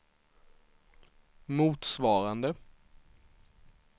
motsvarande